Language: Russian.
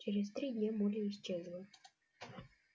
через три дня молли исчезла